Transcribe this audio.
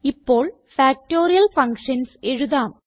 ഇപ്പോൾ factorial functions എഴുതാം